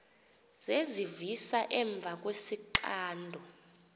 zezivisa emva kwesixando